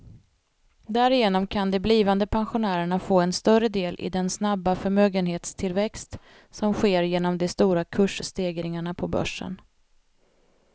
Därigenom kan de blivande pensionärerna få en större del i den snabba förmögenhetstillväxt som sker genom de stora kursstegringarna på börsen.